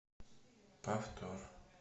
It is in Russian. повтор